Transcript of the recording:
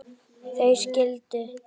Þau skildu líka.